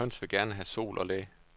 Høns vil gerne have sol og læ.